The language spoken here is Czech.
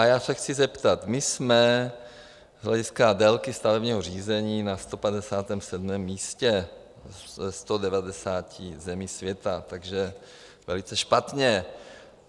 A já se chci zeptat: my jsme z hlediska délky stavebního řízení na 157. místě ze 190 zemí světa, takže velice špatně.